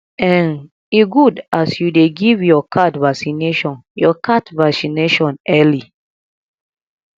um e good as you dey give your cat vaccination your cat vaccination early